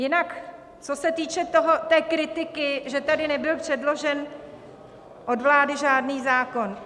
Jinak co se týče té kritiky, že tady nebyl předložen od vlády žádný zákon.